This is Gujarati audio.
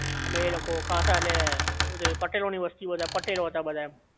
અમે લોકો ખાસા ને પટેલો ની વસ્તી બધા પટેલો હતા બધાઈ